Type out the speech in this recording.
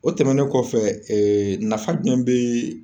O tɛmɛnen kɔfɛ, ee nafa jumɛn bi